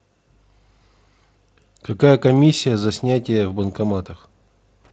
какая комиссия за снятие в банкоматах